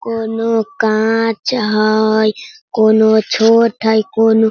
कोनो काच हई कउनो छोट हई कोनो --